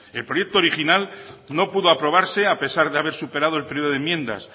el proyecto original no pudo aprobarse a pesar de haber superado el periodo de enmiendas